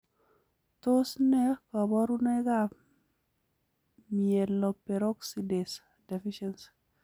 Tos nee koborunikab Myeloperoxidase deficiency?